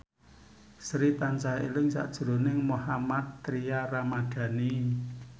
Sri tansah eling sakjroning Mohammad Tria Ramadhani